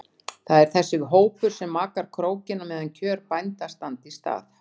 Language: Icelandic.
Það er þessi hópur sem makar krókinn á meðan kjör bænda standa í stað.